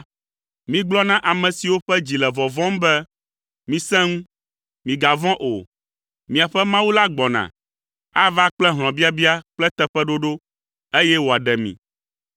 migblɔ na ame siwo ƒe dzi le vɔvɔ̃m be, “Misẽ ŋu, migavɔ̃ o. Miaƒe Mawu la gbɔna. Ava kple hlɔ̃biabia kple teƒeɖoɖo, eye wòaɖe mi.”